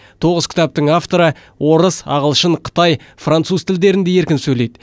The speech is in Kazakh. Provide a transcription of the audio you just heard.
тоғыз кітаптың авторы орыс ағылшын қытай француз тілдерінде еркін сөйлейді